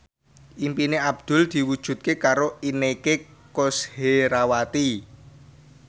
impine Abdul diwujudke karo Inneke Koesherawati